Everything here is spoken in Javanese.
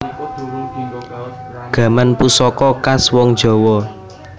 Gaman pusaka khas wong jawa